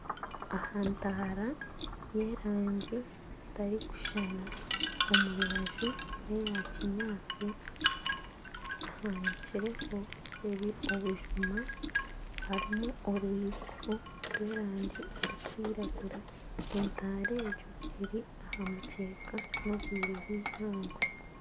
Aha ntaara ya erangi zitarukushushana omu rubaju neya kinyantsi hanikireho obujuma harimu orwiko rw'erangi erikwiragura entaara egyo eri aha mukyeka n'obwire bw'eihangwe.